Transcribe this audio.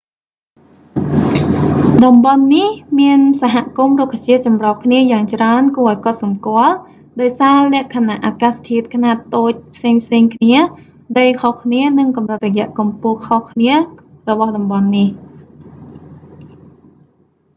តំបន់នេះមានសហគមន៍រុក្ខជាតិចម្រុះគ្នាយ៉ាងច្រើនគួរឱ្យកត់សម្គាល់ ដោយសារលក្ខណៈអាកាសធាតុខ្នាតតូចផ្សេងៗគ្នា ដីខុសគ្នា និងកម្រិតរយៈកម្ពស់ខុសគ្នារបស់តំបន់នេះ